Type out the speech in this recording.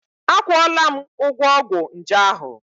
Akwụọla m ụgwọ ọgwụ nje ahụ.